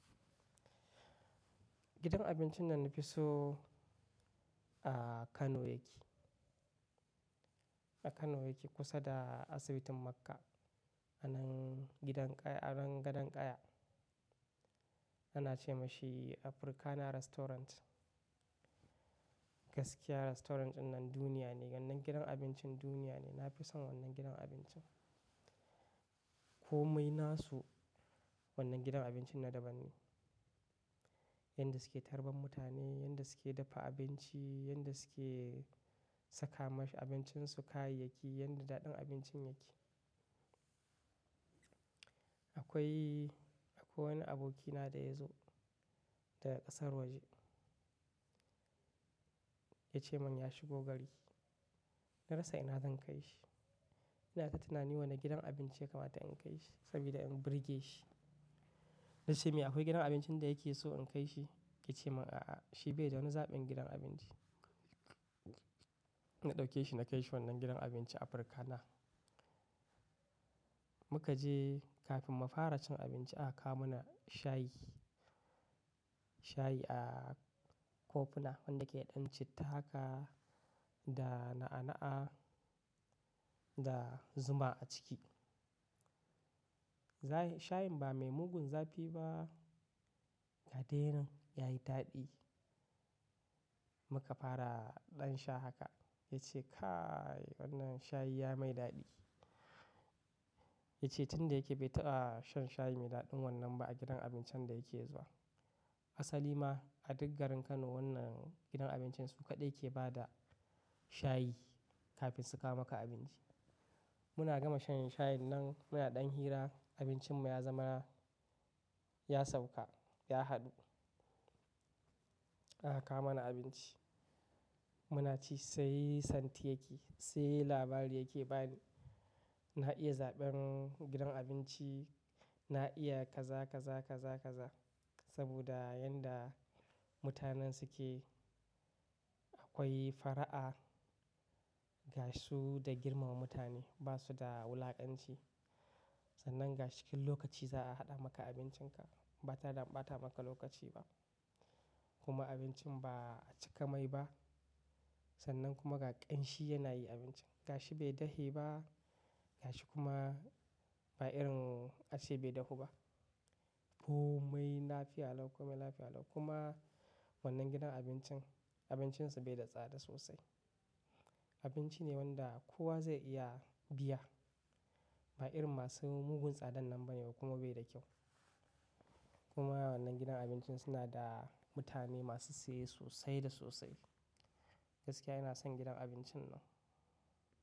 Gidan abincin nan na fi so a Kano yake. A Kano yake kusa da asibitin Makka a nan gidan ƙaya, a nan gadon ƙaya. Ana ce ma shi Africana Restaurant. Gaskiya restaurant ɗinan duniya ne, wannan gidan abincin duniya ne. Na fi son wannan gidan abincin. Komai na su wannan gidan abincin na daban ne. Yanda suke tarban mutane, yanda suke dafa abinci, yanda suke saka ma abincinsu kayayyaki, yanda daɗin abincin yake. Akwai, akwai wani abokina da ya zo daga ƙasar waje. Ya ce mani ya shigo gari. Na rasa ina zan kai shi. Ina ta tunani wane gidan abinci ya kamata in kai shi sabida in burge shi. Na ce mai akwai gidan abincin da yake so in kai shi? Ya ce min a'a, shi bai da wani zaɓin gidan abinci. Na ɗauke shi na kai shi wannan gidan abinci Africana. Mu ka je kafin mu fara cin abinci aka kawo mana shayi. Shayi a kofina wanda yake ɗan citta haka da na'a-na'a da zuma a ciki. Zayi-- shayin ba mai mugun zafi ba, ka dai yinan ya yi daɗi. Mu ka fara ɗan sha haka. Ya ce kai wannan shayi ya mai daɗi. Ya ce tun da yake bai taɓa shan shayi mai daɗin wannan ba a gidan abincin da yake zuwa. Asali ma a duk garin Kano wannan gidan abincin su kaɗai ke ba da shayi kafin su kawo maka abinci. Muna gama shayin shayin nan, muna ɗan hira abincin mu ya zamana, ya sauka, ya haɗu. Aka kawo mana abinci. Mu na ci sai santi yake, sai labari yake bani. Na iya zaɓen gidan abinci, na iya kaza kaza kaza kaza saboda yanda mutanen suke akwai fara'a ga su da girmama mutane. Ba su da wulakanci. Sannan ga cikin lokaci za a haɗa maka abincinka. Ba tada ɓata maka lokaci ba. Kuma abincin ba a cika mai ba sannan kuma ga ƙanshi yana yi abincin. Ga shi bai dahe ba, ga shi kuma ba irin ace bai dahu ba. Komai lafiya lau, komai lafiya lau kuma wannan gidan abincin abincin su bai da tsada sosai. Abinci ne wanda kowa zai iya biya. Ba irin masu mugun tsadan nan ba ne kuma bai da kyau. Kuma wannan gidan abincin suna da mutane masu siye sosai da sosai. Gaskiya ina son gidan abincin nan.